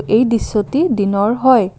এই দৃশ্যটি দিনৰ হয়।